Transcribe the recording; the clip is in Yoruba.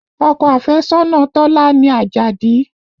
Ọkọ afẹ́sọ́nà Tọ́lá ni Àjàdí